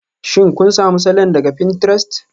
Shin kun sami salon daga pinterest?